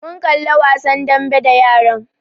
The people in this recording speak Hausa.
Mun kalli wasan dambe da yaran